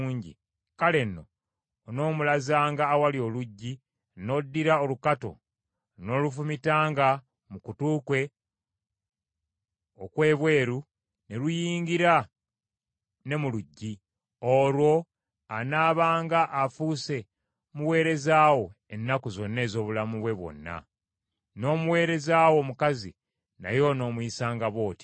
kale nno, onoomulazanga awali oluggi, n’oddira olukato n’olufumitanga mu kutu kwe okw’ebweru ne luyingira ne mu luggi; olwo anaabanga afuuse muweereza wo ennaku zonna ez’obulamu bwe bwonna. N’omuweereza wo omukazi naye onoomuyisanga bw’otyo.